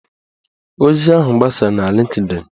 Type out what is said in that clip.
Ozi ahụ gbasara na Lịnkdịn